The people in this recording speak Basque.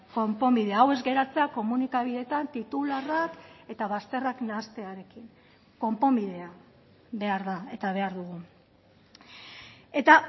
konponbidea hau ez geratzea komunikabideetan titularrak eta bazterrak nahastearekin konponbidea behar da eta behar dugu eta